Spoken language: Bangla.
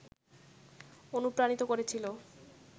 অনুপ্রাণিত করেছিল